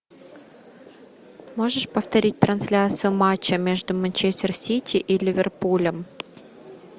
можешь повторить трансляцию матча между манчестер сити и ливерпулем